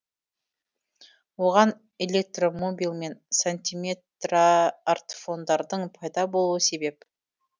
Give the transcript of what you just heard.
оған электромобил мен сантиметрартфондардың пайда болуы себеп